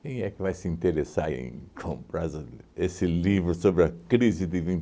Quem é que vai se interessar em comprar essa esse livro sobre a crise de